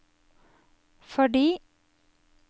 fordi